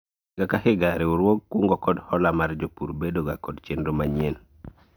Higa ka higa, riwruog kungo kod hola mar jopur bedo ga kod chenro manyien